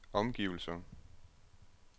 omgivelser